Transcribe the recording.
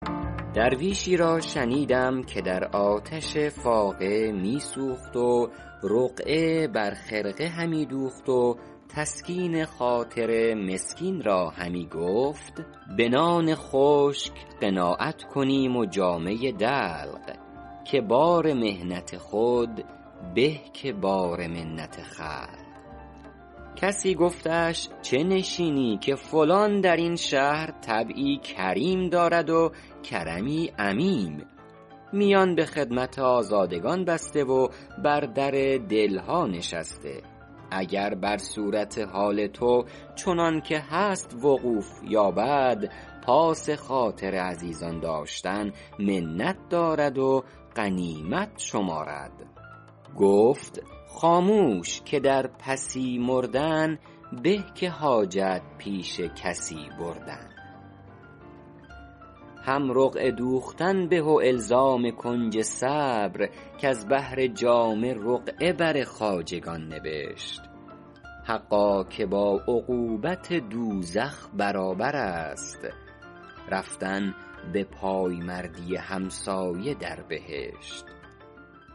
درویشی را شنیدم که در آتش فاقه می سوخت و رقعه بر خرقه همی دوخت و تسکین خاطر مسکین را همی گفت به نان خشک قناعت کنیم و جامه دلق که بار محنت خود به که بار منت خلق کسی گفتش چه نشینی که فلان در این شهر طبعی کریم دارد و کرمی عمیم میان به خدمت آزادگان بسته و بر در دل ها نشسته اگر بر صورت حال تو چنان که هست وقوف یابد پاس خاطر عزیزان داشتن منت دارد و غنیمت شمارد گفت خاموش که در پسی مردن به که حاجت پیش کسی بردن هم رقعه دوختن به و الزام کنج صبر کز بهر جامه رقعه بر خواجگان نبشت حقا که با عقوبت دوزخ برابر است رفتن به پایمردی همسایه در بهشت